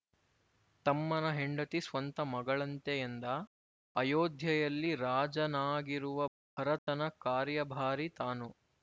ತಮ್ಮನ ಹೆಂಡತಿ ಸ್ವಂತ ಮಗಳಂತೆ ಎಂದ ಅಯೋಧ್ಯೆಯಲ್ಲಿ ರಾಜನಾಗಿರುವ ಭರತನ ಕಾರ್ಯಭಾರಿ ತಾನು